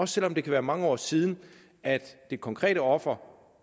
selv om det kan være mange år siden at det konkrete offer